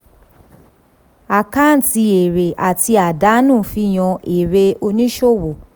àkáǹtì èrè àti àdánù fihan èrè oníṣòwò.